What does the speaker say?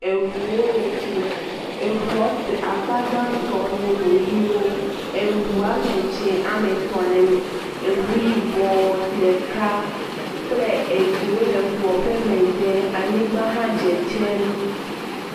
Eŋuwo le fi, eŋua te…akpa gãtɔ nye eŋuwo hewo, eŋu woame dzɛ̃ame etɔ̃ le eme, eŋu yibɔ ɖeka kple eɖewo le eŋua ƒe megbe, anyigba hã dzedzem.